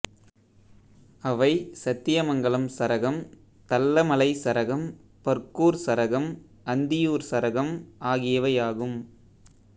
அவை சத்தியமங்கலம் சரகம் தல்ல மலை சரகம் பர்கூர் சரகம் அந்தியூர் சரகம் ஆகியவையாகும்